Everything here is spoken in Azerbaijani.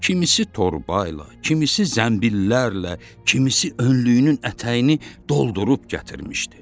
Kimisi torbayla, kimisi zəmbillərlə, kimisi önlüyünün ətəyini doldurub gətirmişdi.